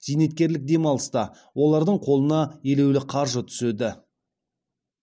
зейнеткерлік демалыста олардың қолына елеулі қаржы түседі